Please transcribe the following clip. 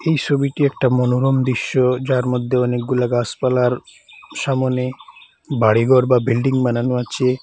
এই ছবিটি একটা মনোরম দৃশ্য যার মধ্যে অনেকগুলা গাছপালার সামনে বাড়ি ঘর বা বিল্ডিং বানানো আছে।